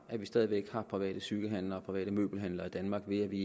at vi stadig væk har private cykelhandlere og private møbelhandlere i danmark ved at vi